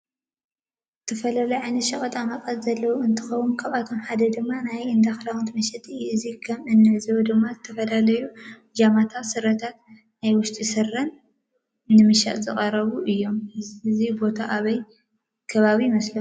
ዝተፈላለዩ ዓይነት ሽቀጣ መቀጥ ዘለዎ እንትኮነ ካብአቶም ሓዳ ድማ ናይ እንዳ ክዳን መሽጢ እዩ። እዚ ከም እንዕዞቦ ድማ ዝተፈላለዩ ብጃማታት ፤ስረታትን ናይ ውሽጢ ስረን ንመሸጣ ዝቀረቡ እዩም። እዚ ቦታ አበየ ከባቢ ይመስለኩም?